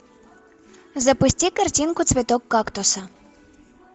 запусти картинку цветок кактуса